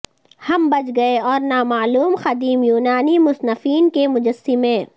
ہم بچ گئے اور نامعلوم قدیم یونانی مصنفین کے مجسمے